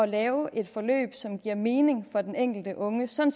lave et forløb som giver mening for den enkelte unge sådan